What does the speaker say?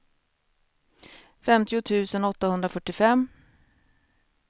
femtio tusen åttahundrafyrtiofem